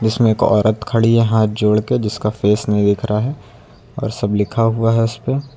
जिसमें एक औरत खड़ी है हाथ जोड़के जिसका फेस नहीं दिखरा है और सब लिखा हुआ है उसपे --